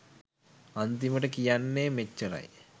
අන්තිමට කියන්නෙ මෙච්ච්රයි